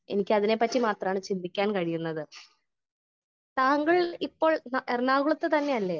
Speaker 1 എന്നിക്കതിനെ പറ്റി മാത്രമാണ് ചിന്തിക്കാൻ കഴിയുന്നത് . താങ്കൾ ഇപ്പോൾ എറണാകുളത്ത് തന്നെ അല്ലേ ?